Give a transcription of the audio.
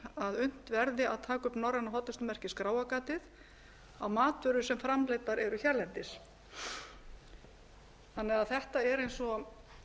að unnt verði að taka upp norræna hollustumerkið skráargatið á matvörur sem framleiddar eru hérlendis þannig að þetta er eins og